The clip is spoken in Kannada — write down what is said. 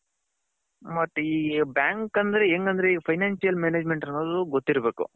ಮತ್ತೆ ಈ bank ಅಂದ್ರೆ ಹೆಂಗ್ ಅಂದ್ರೆ ಈ financial management ಅನ್ನೋದು ಗೊತ್ತಿರಬೇಕು.